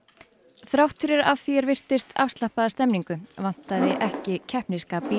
þrátt fyrir að því er virtist afslappaða stemningu vantaði ekki keppnisskap í